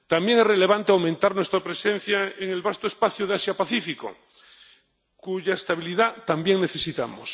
También es relevante aumentar nuestra presencia en el vasto espacio de Asia Pacífico, cuya estabilidad también necesitamos.